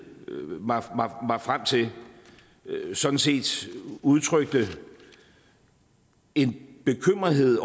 mig frem til sådan set udtrykte en bekymrethed